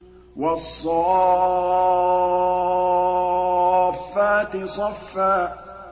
وَالصَّافَّاتِ صَفًّا